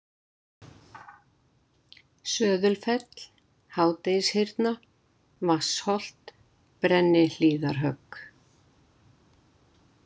Söðulfell, Hádegishyrna, Vatnsholt, Brennihlíðarhögg